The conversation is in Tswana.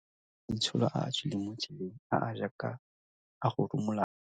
A na le maitsholo a a tswileng mo tseleng, a a jaaka a go rumulana.